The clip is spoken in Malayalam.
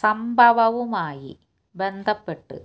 സംഭവവുമായി ബന്ധപ്പെട്ട്